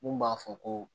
Mun b'a fɔ ko